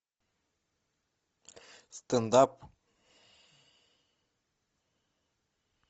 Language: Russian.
стендап